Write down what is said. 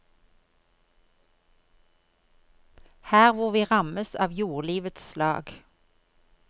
Her hvor vi rammes av jordlivets slag.